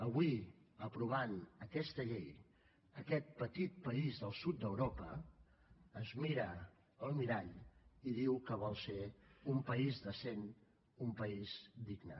avui aprovant aquesta llei aquest petit país del sud d’europa es mira al mirall i diu que vol ser un país decent un país digne